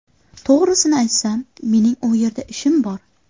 To‘g‘risini aytsam, mening u yerda ishim bor.